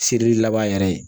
Seli laban yɛrɛ ye